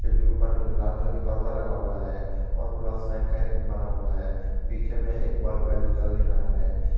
खिड़की के ऊपर लाल कलर का पर्दा लगा हुआ है और प्लस साइन का एक बना हुआ है पीछे में एक बल्ब है जो जल नहीं रहा है।